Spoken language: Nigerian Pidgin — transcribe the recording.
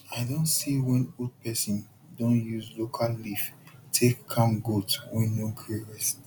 i don see when old person don use local leaf take calm goats wey no gree rest